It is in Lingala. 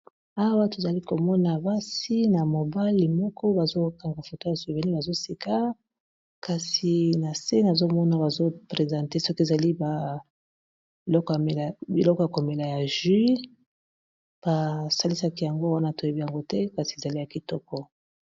Awa tozali komona basi na mobali moko ba zokanga foto ya suvéni bazosika kasi na se nazomona ba zoprezente, soki ezali biloko ya komela ya juiy basalisaki yango wana toyebi yango te kasi ezali ya kitoko.